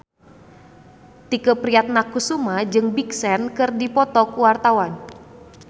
Tike Priatnakusuma jeung Big Sean keur dipoto ku wartawan